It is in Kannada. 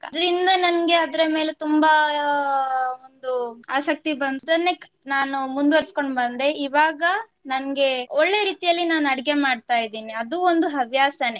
ಅದ್ರಿಂದ ನಂಗೆ ಅದ್ರ ಮೇಲೆ ತುಂಬಾ ಒಂದು ಆಸಕ್ತಿ ಬಂತು ಅದನ್ನೇ ನಾನು ಮುಂದುವರಿಸಿಕೊಂಡು ಬಂದೆ ಇವಾಗ ನಂಗೆ ಒಳ್ಳೆಯ ರೀತಿಯಲ್ಲಿ ನಾನು ಅಡಿಗೆ ಮಾಡ್ತಾ ಇದ್ದೀನಿ ಅದು ಒಂದು ಹವ್ಯಾಸನೇ.